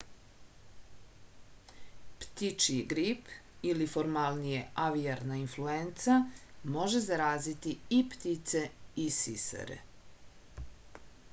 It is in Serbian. ptičji grip ili formalnije avijarna influenca može zaraziti i ptice i sisare